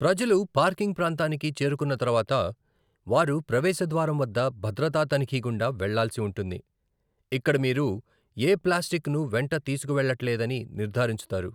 ప్రజలు పార్కింగ్ ప్రాంతానికి చేరుకున్న తర్వాత, వారు ప్రవేశ ద్వారం వద్ద భద్రతా తనిఖీ గుండా వెళ్ళాల్సి ఉంటుంది, ఇక్కడ మీరు ఏ ప్లాస్టిక్ను వెంట తీసుకువెళ్లట్లేదని నిర్ధారించుతారు.